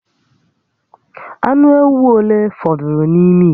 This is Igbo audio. Ànù éwú ole fọdụrụ n'ime ite?